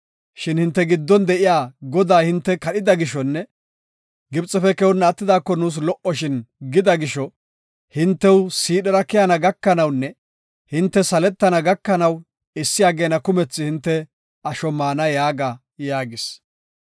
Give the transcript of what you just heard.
Shin ‘Hinte giddon de7iya Godaa hinte kadhida gishonne Gibxefe keyonna attidaako nuus lo77oshin gida gisho, hintew siidhera keyana gakanawunne hinte saletana gakanaw issi ageena kumethi hinte asho maana’ yaaga” yaagis.